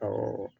Ɔwɔ